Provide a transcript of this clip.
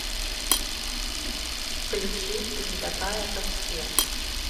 включи ты не такая как все